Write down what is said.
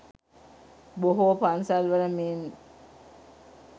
බොහෝ පන්සල් වල මෙන්